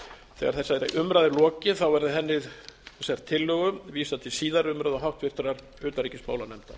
þegar þessari umræðu er lokið verði þessari tillögu vísað til síðari umræðu og háttvirtrar utanríkismálanefndar